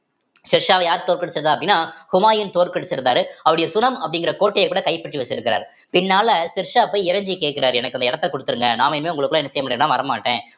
ஷெர்ஷாவ யார் தோற்கடிச்சது அப்படின்னா ஹுமாயூன் தோற்கடிச்சிருந்தாரு அவருடைய சுணம் அப்படிங்கிற கோட்டைய கூட கைப்பற்றி வச்சிருக்காரு பின்னால ஷெர்ஷா போய் இறைஞ்சி கேட்கிறார் எனக்கு அந்த இடத்தை கொடுத்துடுங்க நாம இனிமே உங்களுக்குள்ள என்ன செய்ய முடியாதுன்னா வரமாட்டேன்